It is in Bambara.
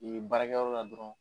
Yen baara kɛyɔrɔ la dɔrɔn.